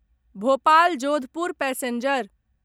Bhopal Jodhpur passenger